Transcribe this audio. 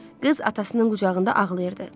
Qız atasının qucağında ağlayırdı.